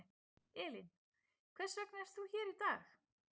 Elín: Hvers vegna er þú hér í dag?